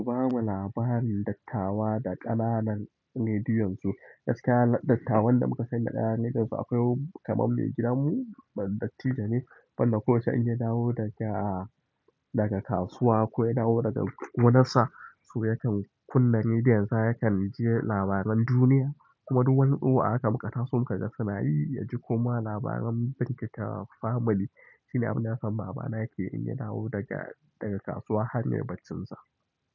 Babu labarin dattawa da ƙananan rediyonsu. Gaskiya dattawan da muka sani da ƙananan rediyonsu akwai kaman mai gidanmu wani dattijo ne wanda ko yaushe in yadawo daga kasuwa ko ya dawo daga gonarsa, to yakan kunna rediyonsa yakan ji labaran duniya. Kuma duk wani tsoho a haka maka taso muka ga sanayi ya ji kuma labaran berekete family shine abin da nasan baba ya keyi in ya dawo daga kasuwa har yayi barcinsa.